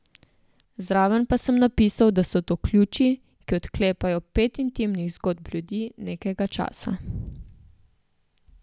Zraven pa sem napisal, da so to ključi, ki odklepajo pet intimnih zgodb ljudi nekega časa.